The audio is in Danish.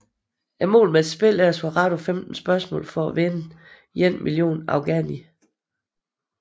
Målet med spillet er at svare rigtigt på 15 spørgsmål for at vinde 1 million afghani